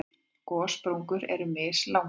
Gossprungur eru mjög mislangar.